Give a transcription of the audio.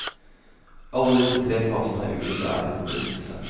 Alle disse tre fasene har ulik ære forbundet til seg.